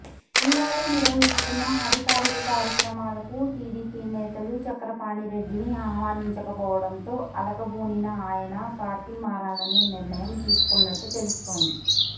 జిల్లాలో నిర్వహిస్తున్న అధికారిక కార్యక్రమాలకు టీడీపీ నేతలు చక్రపాణిరెడ్డిని ఆహ్వానించకపోవడంతో అలకబూనిన ఆయన పార్టీ మారాలనే నిర్ణయం తీసుకున్నట్టు తెలుస్తోంది